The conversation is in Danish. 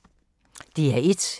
DR1